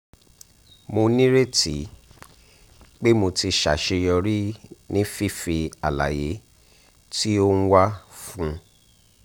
mo ni reti pe mo ti saseyori ni fifi alaye ti o n wa fun